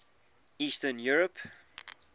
eastern europe